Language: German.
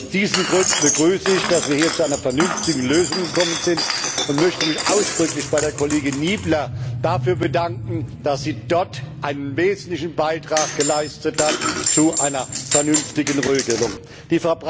Aus diesen Gründen begrüße ich, dass wir hier zu einer vernünftigen Lösung gekommen sind, und möchte mich ausdrücklich bei der Kollegin Niebler dafür bedanken, dass sie einen wesentlichen Beitrag zu einer vernünftigen Regelung geleistet hat.